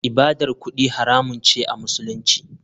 ibadar kudi haramun ce a musulunci.